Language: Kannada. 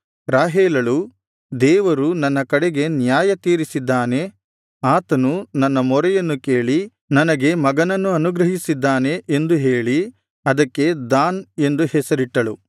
ರಾಹೇಲಳು ದೇವರು ನನ್ನ ಕಡೆಗೆ ನ್ಯಾಯತೀರಿಸಿದ್ದಾನೆ ಆತನು ನನ್ನ ಮೊರೆಯನ್ನು ಕೇಳಿ ನನಗೆ ಮಗನನ್ನು ಅನುಗ್ರಹಿಸಿದ್ದಾನೆ ಎಂದು ಹೇಳಿ ಅದಕ್ಕೆ ದಾನ್ ಎಂದು ಹೆಸರಿಟ್ಟಳು